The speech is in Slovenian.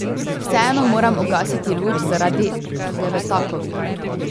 Vseeno moram ugasiti luč, zaradi Devetakovih.